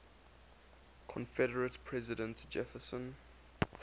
confederate president jefferson